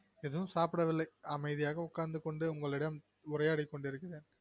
எதுவும் சாப்பிடவில்லை அமைதியகா உக்காந்துகொண்டு உங்களிடம் உரையாடி கொண்டு இருக்கிறேன்